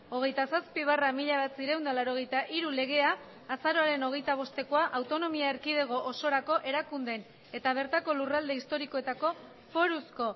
hogeita zazpi barra mila bederatziehun eta laurogeita hiru legea azaroaren hogeita bostekoa autonomia erkidego osorako erakundeen eta bertako lurralde historikoetako foruzko